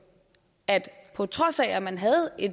at der på trods af at man havde